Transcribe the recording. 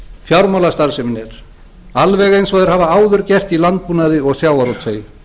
fjármálastarfsemin er alveg eins og þeir hafa áður gert í landbúnaði og sjávarútvegi